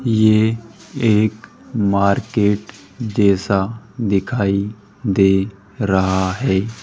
ये एक मार्केट जैसा दिखाई दे रहा है।